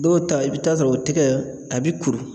Dɔw ta , i bɛ taa sɔrɔ o tɛgɛ a bɛ kuru.